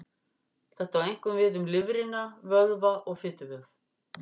Þetta á einkum við um lifrina, vöðva og fituvef.